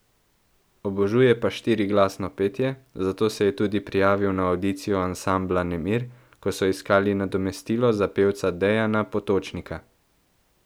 Obožuje pa štiriglasno petje, zato se je tudi prijavil na avdicijo ansambla Nemir, ko so iskali nadomestilo za pevca Dejana Potočnika.